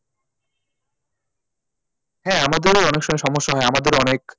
হ্যাঁ, আমাদেরও অনেক সময় সমস্যা হয় আমাদেরও অনেক,